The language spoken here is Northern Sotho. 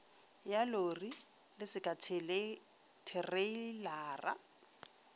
ya lori le seka thereilara